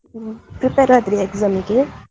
ಹ್ಮ್, prepare ಆದ್ರಿಯ exam ಗೆ.